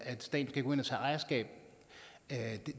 at staten kan gå ind og tage ejerskab